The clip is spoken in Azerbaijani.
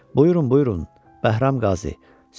Buyurun, buyurun, Bəhram Qazi.